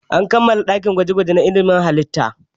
An kammala ginin ɗakin gwaje-gwaje na ilimin halitta.